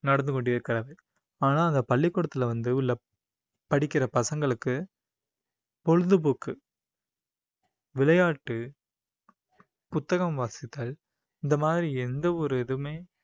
நடந்து கொண்டிருக்கிறது ஆனா அந்த பள்ளிக்கூடத்தில வந்து உள்ள படிக்கிற பசங்களுக்கு பொழுதுபோக்கு விளையாட்டு புத்தகம் வாசித்தல் இந்த மாதிரி எந்த ஒரு இதுவுமே